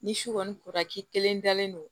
Ni su kɔni kora k'i kelen dalen don